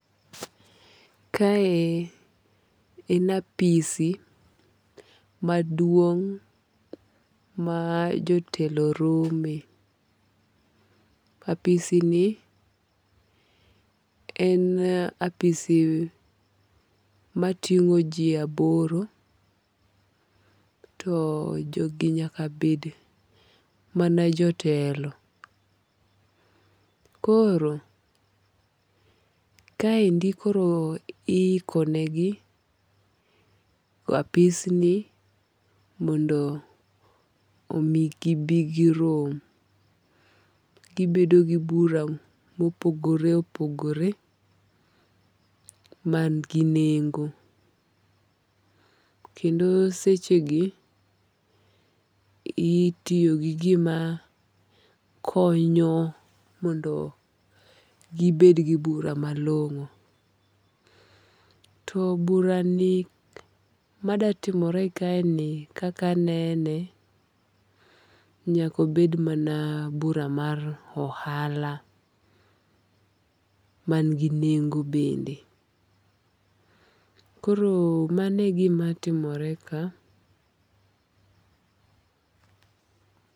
Kae en apisi maduong' ma jotelo rome. Apisi ni en apisi mating'o ji aboro to jogi nyaka bed mana jotelo. Koro, kaendi koro i iko ne gi apis ni mondo omigibi girom. Gibedo gi bura mopogore opogore man gi nengo. Kendo seche gi itiyo gi gima konyo mondo gibed gi bura malong'o. To bura ni madatimore kae ni kakanene, nyakobed mana bura mar ohala man gi nengo bende. Koro mano e gima timore ka.